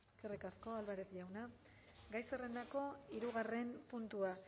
eskerrik asko álvarez jauna gai zerrendako hirugarren puntua